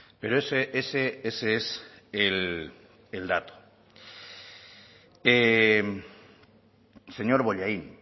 pero ese es el dato señor bollain